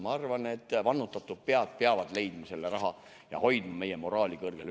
Ma arvan, et vannutatud pead peavad leidma selle raha ja hoidma meie moraali üleval.